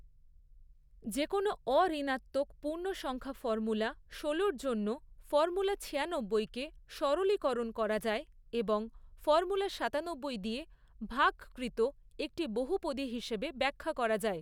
যেকোনো অঋণাত্মক পূর্ণসংখ্যা ফর্মুলা ষোলোর জন্য ফর্মুলা ছিয়ানব্বইকে সরলীকরণ করা যায় এবং ফর্মুলা সাতানব্বই দিয়ে ভাগকৃত একটি বহুপদী হিসেবে ব্যাখ্যা করা যায়